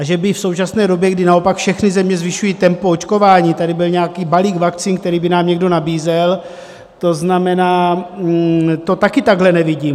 A že by v současné době, kdy naopak všechny země zvyšují tempo očkování, tady byl nějaký balík vakcín, který by nám někdo nabízel, to znamená, to taky takhle nevidím.